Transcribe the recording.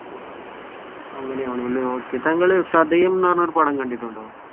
അങ്ങനെയാണെല്ലേ okay താങ്കൾ ചതയം എന്ന് പറഞ്ഞ പടം കണ്ടിട്ടുണ്ടോ?